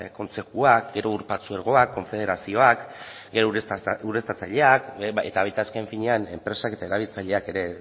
kontzejuak ur partzuergoak konfederazioak ureztatzaileak eta baita azken finean enpresak eta erabiltzaileak ere